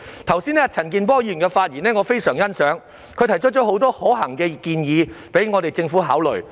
我非常欣賞陳健波議員剛才的發言，他提出了很多可行的建議供政府考慮。